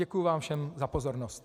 Děkuji vám všem za pozornost.